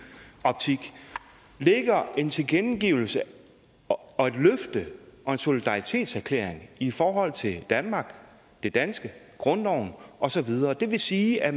optik ligger en tilkendegivelse og et løfte og en solidaritetserklæring i forhold til danmark det danske grundloven og så videre det vil sige at